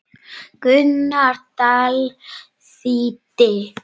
Gunnar Dal þýddi.